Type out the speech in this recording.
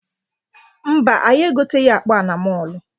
Mba, anyị egoteghị akpa a na mọọlụ.